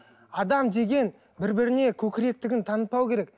адам деген бір біріне көкіректігін танытпауы керек